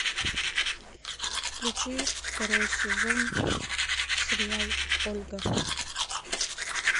включи второй сезон сериал ольга